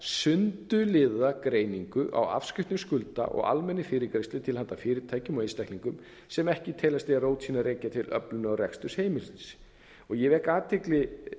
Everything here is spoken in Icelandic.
sundurliðaða greiningu á afskriftum skulda og almennri fyrirgreiðslu til handa fyrirtækjum og einstaklingum sundurliðaða greiningu á afskriftum til handa fyrirtækjum og einstaklingum sem ekki teljast eiga rót sína að rekja til öflunar og reksturs heimilis ég vek athygli